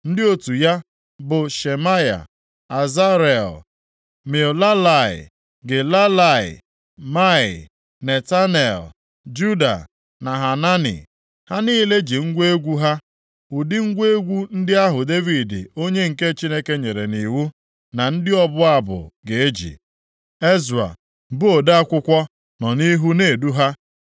Ndị otu ya, bụ Shemaya, Azarel, Milalai, Gilalai, Maai, Netanel, Juda na Hanani. Ha niile ji ngwa egwu ha, ụdị ngwa egwu ndị ahụ Devid onye nke Chineke nyere nʼiwu na ndị ọbụ abụ ga-eji. Ezra, bụ ode akwụkwọ nọ nʼihu na-edu ha.